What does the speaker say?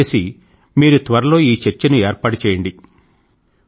దయచేసి మీరు త్వరలో ఈ చర్చను ఏర్పాటు చేయండి